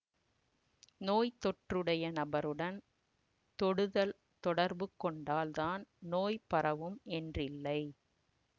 நோய் தொற்றுடைய நபருடன் தொடுதல் தொடர்புக் கொண்டால் தான் நோய் பரவும் என்றில்லை